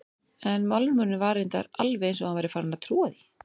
En málrómurinn var reyndar alveg eins og hann væri farinn að trúa því.